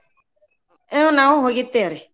ಹ ನಾವು ಹೋಗಿರ್ತೇವ್ರಿ.